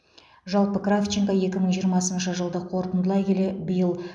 жалпы кравченко екі мың жиырмасыншы жылды қорытындылай келе биыл